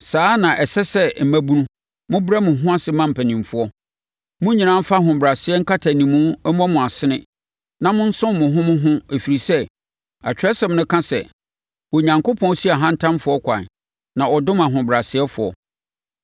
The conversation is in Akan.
Saa ara na ɛsɛ sɛ mmabunu, mobrɛ mo ho ase ma mpanimfoɔ. Mo nyinaa mfa ahobrɛaseɛ nkatanimu mmɔ mo asene na monsom mo ho mo ho ɛfiri sɛ, Atwerɛsɛm no ka sɛ, “Onyankopɔn si ahantanfoɔ ɛkwan na ɔdom ahobrɛasefoɔ.”